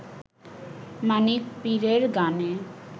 মানিক পীরের গানে